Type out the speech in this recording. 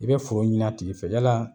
I bɛ foro ɲini a tigi fɛ yala